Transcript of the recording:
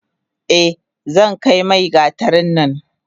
Eh zankai mai gatarin nan.